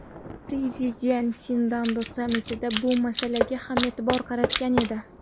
Prezident Sindao sammitida bu masalaga ham e’tibor qaratgan edi.